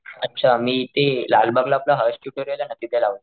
अच्छा मी ते लालबागला ते आपलं हर्ष ट्युटोरिअल ना तिथे लावले.